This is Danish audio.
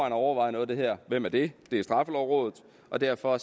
og overvejer noget af det her hvem er det det er straffelovrådet derfor